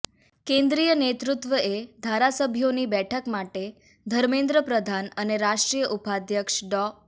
કેન્દ્રીય નેતૃત્વએ ધારાસભ્યોની બેઠક માટે ધર્મેન્દ્ર પ્રધાન અને રાષ્ટ્રીય ઉપાધ્યક્ષ ડો